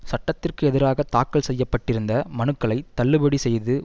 சட்டத்திற்கு எதிராக தாக்கல் செய்ய பட்டிருந்த மனுக்களை தள்ளுபடி செய்து